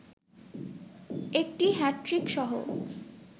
একটি হ্যাট্রিকসহ